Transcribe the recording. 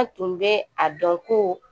An tun bɛ a dɔn ko